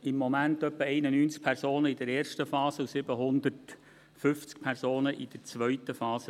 Im Moment betreut er ungefähr 91 Personen in der ersten Phase und 750 Personen in der zweiten Phase.